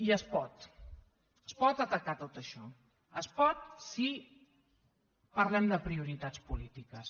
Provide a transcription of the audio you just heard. i es pot es pot atacar tot això es pot si parlem de prioritats polítiques